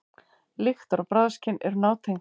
Lyktar- og bragðskyn eru nátengd.